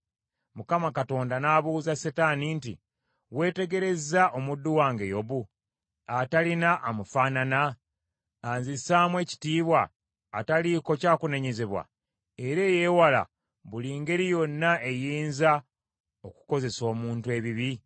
Mukama Katonda n’abuuza Setaani nti, “Weetegerezza omuddu wange Yobu, atalina amufaanana, anzisaamu ekitiibwa, ataliiko kyakunenyezebwa era eyeewala buli ngeri yonna eyinza okukozesa omuntu ebibi?”